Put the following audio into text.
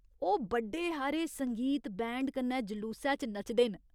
ओह् बड्डे हारे संगीत बैंड कन्नै जलूसै च नचदे न।